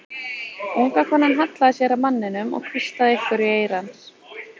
Unga konan hallaði sér að manninum og hvíslaði einhverju í eyra hans.